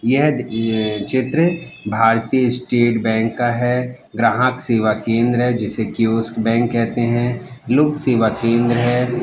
यह अं चित्र भारतीय स्टेट बैंक का है ग्राहक सेवा केन्द्र है जिसे क्वेस बैंक कहते है लोकसेवा केन्द्र है।